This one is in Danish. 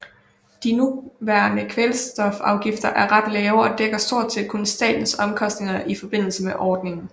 De nuværende kvoteafgifter er ret lave og dækker stort set kun statens omkostninger i forbindelse med ordningen